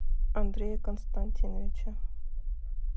андрее константиновиче